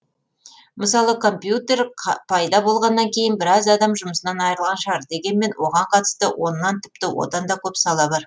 мысалы компьютер пайда болғаннан кейін біраз адам жұмысынан айырылған шығар дегенмен оған қатысты оннан тіпті одан да көп сала бар